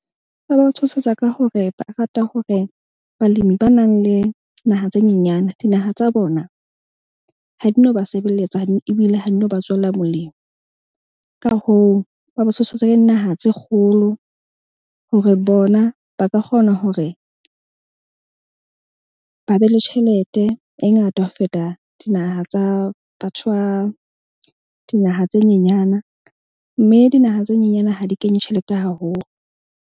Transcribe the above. Ba ba tshosetsa ka hore ba rata hore balemi ba nang le naha tse nyenyana dinaha tsa bona ha di no ba sebeletsa ebile ha di no ba tswela molemo. Ka hoo, ba ba tshosetsa ka dinaha tse kgolo hore bona ba ka kgona hore ba be le tjhelete e ngata ho feta dinaha tsa batho ba dinaha tse nyenyana. Mme dinaha tse nyenyana ha di kenye tjhelete haholo.